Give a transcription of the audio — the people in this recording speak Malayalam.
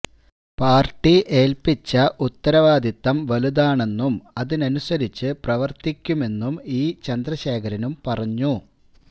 പാര്ട്ടി ഏല്പ്പിച്ച ഉത്തരവാദിത്തം വലുതാണെന്നും അതിനനുസരിച്ച പ്രവര്ത്തിക്കുമെന്ന് ഇ ചന്ദ്രശേഖരനും പറഞ്ഞു